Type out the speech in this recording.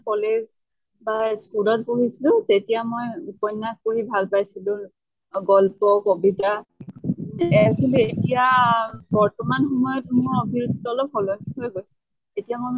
college বা school ৰ পঢ়িছিলো তেতিয়া মই উপন্য়াস পঢ়ি ভাল পাইছিলো। গল্প, কবিতা এহ কিন্তু এতিয়া বৰ্তমান সময়ত মোৰ অভিৰুচি তো অলপ সলনি হৈ গৈছে। এতিয়া মই মানে